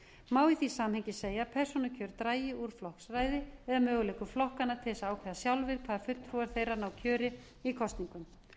má í því samhengi segja að persónukjör dragi úr flokksræði eða möguleikum flokkanna til þess að ákveða sjálfir hvaða fulltrúar þeirra ná kjöri í kosningum